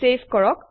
save কৰক